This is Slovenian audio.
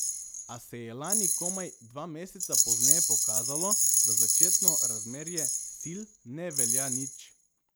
A se je lani komaj dva meseca pozneje pokazalo, da začetno razmerje sil ne velja nič.